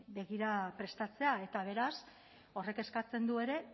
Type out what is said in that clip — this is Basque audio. begira prestatzea eta beraz horrek eskatzen du ere